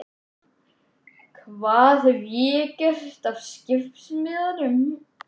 Hvað hef ég gert af skiptimiðanum?